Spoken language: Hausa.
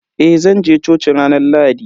Eh zanje coci ranar Lahadi.